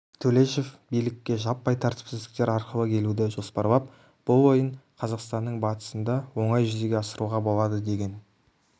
төлешов билікке жаппай тәртіпсіздіктер арқылы келуді жоспарлап бұл ойын қазақстанның батыстында оңай жүзеге асыруға болады деген